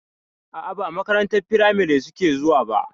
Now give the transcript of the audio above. A'a ba makarantar firamari suke zuwa ba.